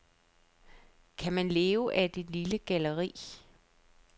Kan man leve af et lille galleri?